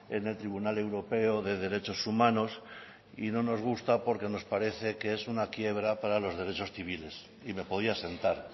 en el tribunal europeo de derechos humanos y no nos gusta porque nos parece que es una quiebra para los derechos civiles y me podía sentar